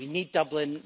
We need Dublin.